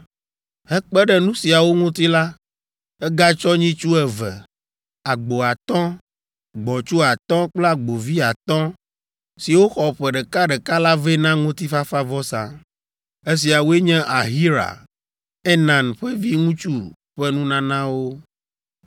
Hekpe ɖe nu siawo ŋuti la, egatsɔ nyitsu eve, agbo atɔ̃, gbɔ̃tsu atɔ̃ kple agbovi atɔ̃, siwo xɔ ƒe ɖeka ɖeka la vɛ na ŋutifafavɔsa. Esiawoe nye Ahira, Enan ƒe viŋutsu ƒe nunanawo.